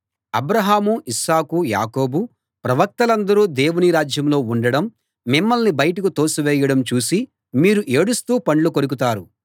అబ్రాహాము Isaac యాకోబు ప్రవక్తలందరూ దేవుని రాజ్యంలో ఉండటం మిమ్మల్ని బయటకు తోసివేయడం చూసి మీరు ఏడుస్తూ పండ్లు కొరుకుతారు